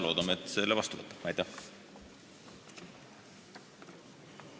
Loodame, et see eelnõu võetakse seadusena vastu.